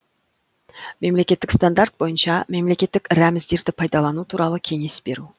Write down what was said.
мемлекеттік стандарт бойынша мемлекеттік рәміздерді пайдалану туралы кеңес беру